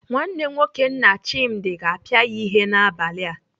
Nwanne nwoke nna Chimdi ga-apịa ya ihe n'abalị a.